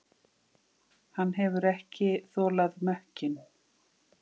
Hann hefur ekki þolað mökkinn.